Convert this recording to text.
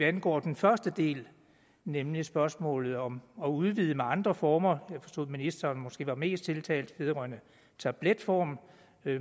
angår den første del nemlig spørgsmålet om at udvide med andre former jeg forstod at ministeren måske var mest tiltalt af tabletformen